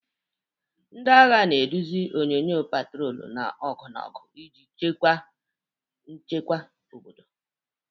Ndị agha na-eduzi onyunyo, patrol na ọgụ ọgụ iji chekwa nchekwa obodo.